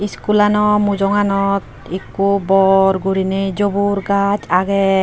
Schoolano mujonganot ekko bor gurine jubur gaaj age.